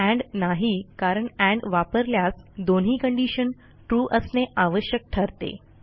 end नाही कारण and वापरल्यास दोन्ही कंडिशन trueअसणे आवश्यक ठरते